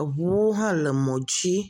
Eŋuwo hã le teƒeɛ.